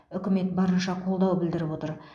үкімет барынша қолдау білдіріп отыр